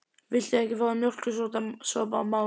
Viltu ekki fá þér mjólkursopa, mamma mín?